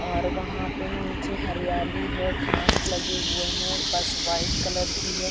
और वहाँ पे नीचे हरियाली है घास लगे हुए है और बस वाइट कलर की है।